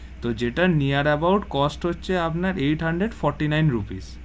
তো যেটা near about cost হচ্ছে আপনার eight hundred fourty-nine rupees.